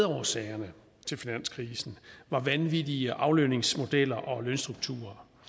årsagerne til finanskrisen var vanvittige aflønningsmodeller og lønstrukturer